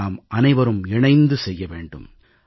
இதை நாமனைவரும் இணைந்து செய்ய வேண்டும்